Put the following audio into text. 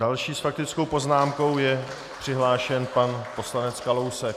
Další s faktickou poznámkou je přihlášen pan poslanec Kalousek.